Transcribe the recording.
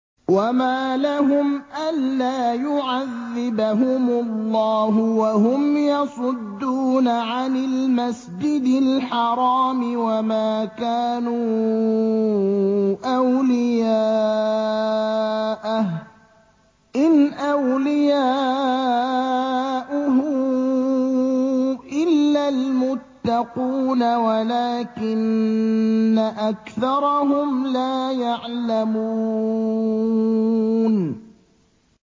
وَمَا لَهُمْ أَلَّا يُعَذِّبَهُمُ اللَّهُ وَهُمْ يَصُدُّونَ عَنِ الْمَسْجِدِ الْحَرَامِ وَمَا كَانُوا أَوْلِيَاءَهُ ۚ إِنْ أَوْلِيَاؤُهُ إِلَّا الْمُتَّقُونَ وَلَٰكِنَّ أَكْثَرَهُمْ لَا يَعْلَمُونَ